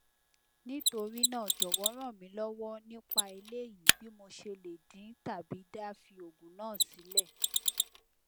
nitorina jowo ranmilowo nipa eleyi bi mo se le din tabi da fi ogun na sile